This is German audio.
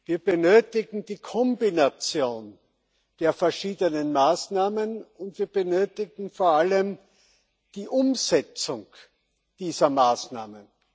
Wir benötigen die Kombination der verschiedenen Maßnahmen, und wir benötigen vor allem die Umsetzung dieser Maßnahmen.